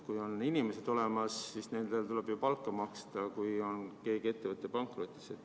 Kui on inimesed olemas, siis nendele tuleb ju palka maksta, kui mingi ettevõte on pankrotis.